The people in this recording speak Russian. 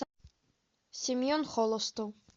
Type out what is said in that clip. семен холостов